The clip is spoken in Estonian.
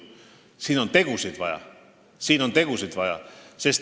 Siin on tegusid vaja!